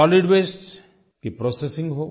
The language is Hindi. सोलिड वास्ते की प्रोसेसिंग हो